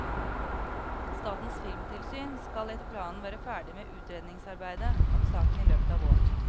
Statens filmtilsyn skal etter planen være ferdig med utredningsarbeidet om saken i løpet av våren.